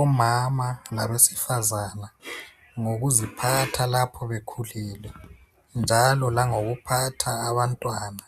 omama labesifazana ngokuziphatha lapho bekhulile njalo langokuphatha abantwana